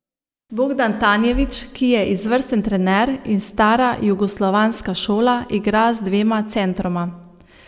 Bogdan Tanjević, ki je izvrsten trener in stara jugoslovanska šola, igra z dvema centroma.